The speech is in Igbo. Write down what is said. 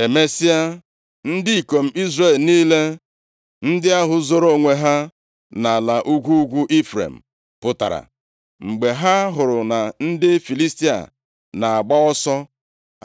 Emesịa, ndị ikom Izrel niile, ndị ahụ zoro onwe ha nʼala ugwu ugwu Ifrem pụtara, mgbe ha hụrụ na ndị Filistia na-agba ọsọ.